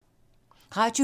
Radio 4